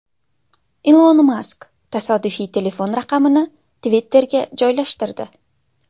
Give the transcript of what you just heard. Ilon Mask tasodifan telefon raqamini Twitter’ga joylashtirdi.